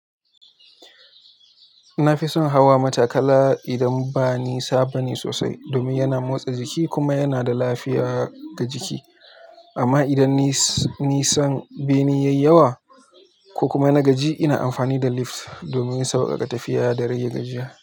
Na fi son hawa matakala idan ba nisa ba ne sosai, domin yana motsa jiki kuma yana da lafiya ga jiki. Amma idan ni-nisan bene ya yi yawa ko kuma na gaji, ina amfani da lift domin sauƙaƙa tafiya da rage gajiya.